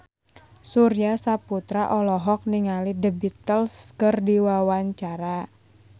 Surya Saputra olohok ningali The Beatles keur diwawancara